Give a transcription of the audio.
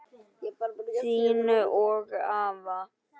Þín og afa.